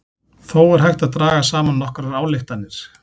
Þó er hægt að draga saman nokkrar ályktanir.